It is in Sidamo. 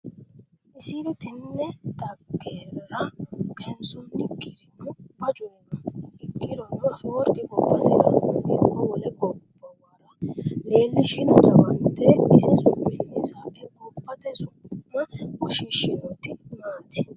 Isiri tenne dhaggera kayinsoonnikkirino bacuri no Ikkirono, Afeworqi gobbasirano ikko wole gobbuwara leellishino jawaante isi su’minni sa’e gobbate su’ma woshshiishshinoti maati?